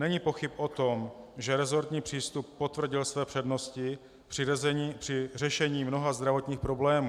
Není pochyb o tom, že resortní přístup potvrdil své přednosti při řešení mnoha zdravotních problémů.